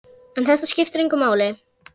En þetta skiptir engu máli.